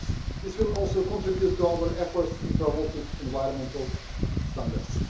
This will also contribute to our efforts in promoting environmental standards.